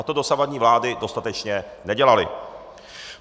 A to dosavadní vlády dostatečně nedělaly.